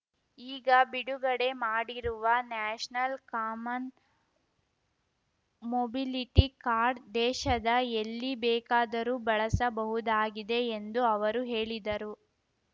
ಈಗ ಬಿಡುಗಡೆ ಮಾಡಿರುವ ನ್ಯಾಷನಲ್ ಕಾಮನ್ ಮೊಬಿಲಿಟಿ ಕಾರ್ಡ್ ದೇಶದ ಎಲ್ಲಿ ಬೇಕಾದರೂ ಬಳಸಬಹುದಾಗಿದೆ ಎಂದು ಅವರು ಹೇಳಿದರು